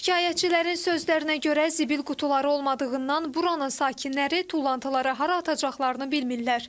Şikayətçilərin sözlərinə görə zibil qutuları olmadığından buranın sakinləri tullantılara hara atacaqlarını bilmirlər.